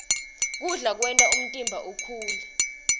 kudla kwenta umtimba ukhule